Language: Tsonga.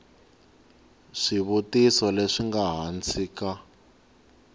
swivutiso leswi nga hansi ka